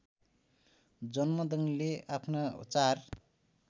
जमदग्निले आफ्ना चार